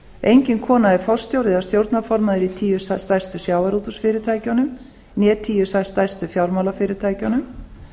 engin kona er forstjóri eða stjórnarformaður í tíu stærstu sjávarútvegsfyrirtækjunum né tíu stærstu fjármálafyrirtækjunum